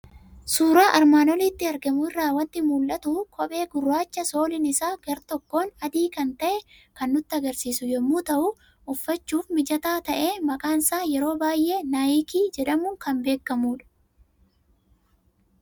Suuraa armaan olitti argamu irraa waanti mul'atu; kophee gurraacha sooliin isaa gar-tokkoon adii kan ta'e kan nutti agarsiisu yommuu ta'u, uffachuuf mijataa ta'e maqaansaa yeroo baay'ee "Naayikii jedhamuun kan beekamudha.